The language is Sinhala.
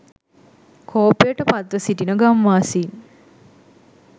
කෝපයට පත්ව සිටින ගම්වාසීන්